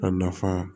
A nafa